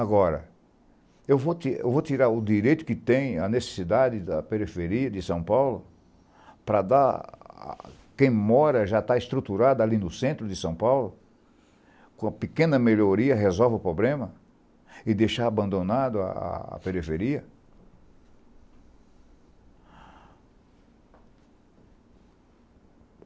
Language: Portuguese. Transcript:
Agora, eu vou eu vou tirar o direito que tem a necessidade da periferia de São Paulo para dar a quem mora, já está estruturado ali no centro de São Paulo, com uma pequena melhoria resolve o problema e deixar abandonado a a a periferia?